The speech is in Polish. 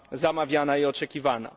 zamawiana i oczekiwana.